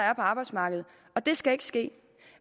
er på arbejdsmarkedet og det skal ikke ske